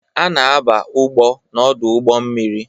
A na-aba ugbo n'ọdụ ụgbọ mmiri